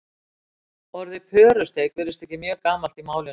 orðið pörusteik virðist ekki mjög gamalt í málinu